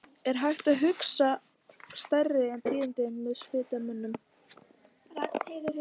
Er hægt að hugsa sér stærri tíðindi en þau sem ég var að flytja mönnum?!